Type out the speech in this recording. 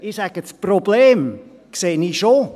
Ich sage, das Problem sehe ich schon.